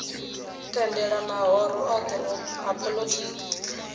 tendela mahoro othe a polotiki